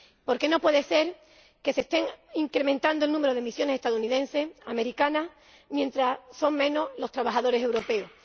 porque no puede ser que se esté incrementando el número de misiones estadounidenses, americanas, mientras son menos los trabajadores europeos.